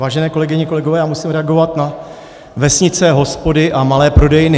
Vážené kolegyně, kolegové, já musím reagovat na vesnice, hospody a malé prodejny.